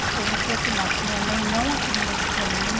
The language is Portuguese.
Isso eu não sei afirmar, porque minha mãe não afirmou isso para mim.